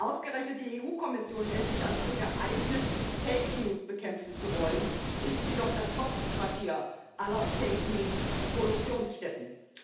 Ausgerechnet die EU Kommission hält sich also für geeignet, Fake News bekämpfen zu wollen ist sie doch das Hauptquartier aller Fake-News-Produktionsstätten!